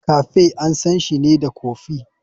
Cafe ansanshi ne da kofi.